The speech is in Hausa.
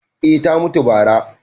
eh ta mutu bara